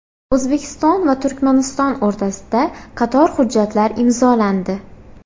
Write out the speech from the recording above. O‘zbekiston va Turkmaniston o‘rtasida qator hujjatlar imzolandi.